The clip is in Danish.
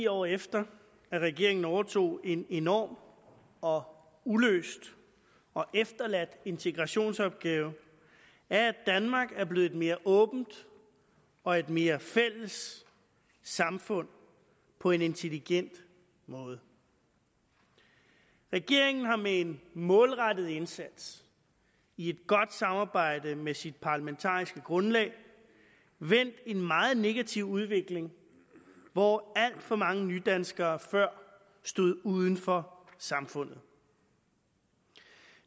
år efter at regeringen overtog en enorm og uløst og efterladt integrationsopgave er at danmark er blevet et mere åbent og et mere fælles samfund på en intelligent måde regeringen har med en målrettet indsats i et godt samarbejde med sit parlamentariske grundlag vendt en meget negativ udvikling hvor alt for mange nydanskere før stod uden for samfundet